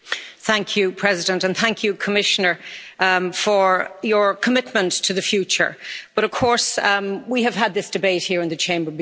Madam President, and thank you Commissioner for your commitment to the future, but of course we have had this debate here in the Chamber before.